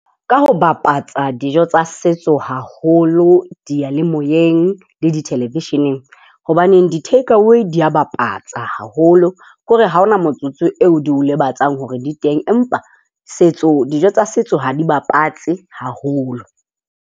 Ka ho bapatsa dijo tsa setso, haholo diyalemoyeng le di-television-eng, hobaneng di-take away di a bapatsa haholo. Ke hore ha ho na motsotso oo di o lebatsang hore di teng, empa setso dijo tsa setso ha di bapatse haholo.